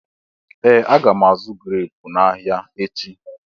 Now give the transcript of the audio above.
Ee! Aga m azụ̀ greepu n'ahịa echi.